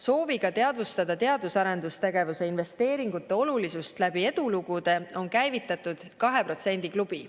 Sooviga teadvustada teadus‑ ja arendustegevuse investeeringute olulisust läbi edulugude on käivitatud kahe protsendi klubi.